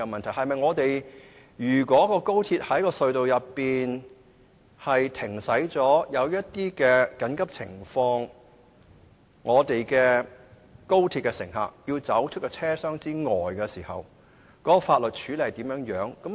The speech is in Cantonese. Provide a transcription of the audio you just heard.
例如，如果高鐵在隧道內停駛或遇到緊急情況，高鐵乘客必須離開車廂，法律上應如何處理呢？